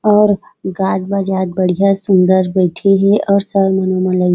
और गात बजात बढ़िया सुंदर बईथे हे और